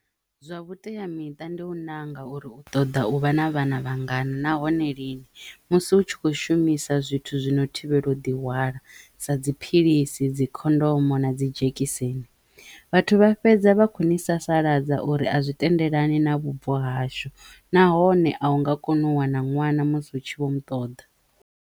Zwa vhuteamiṱa ndi u ṋanga uri u ṱoḓa u vha na vhana vhangana nahone lini musi u tshi kho shumisa zwithu zwino thivhelwa u ḓi hwala sa dziphilisi, dzi khondomo na dzi dzhekiseni vhathu vha fhedza vha kho ni sasaladza uri a zwi tendelani na vhubvo hashu nahone a u nga koni u wana ṅwana musi u tshi Vho mu ṱoḓa.